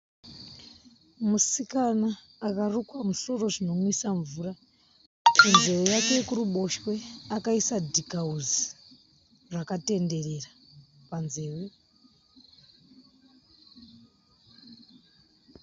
Musikana akarukwa musoro zvinonwisa mvura, kunzeve yake yekuruboshwe akaisa dhikahusi rakatenderera panzeve.